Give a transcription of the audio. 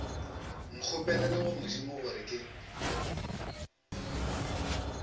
nkgopelele go modimo gore ke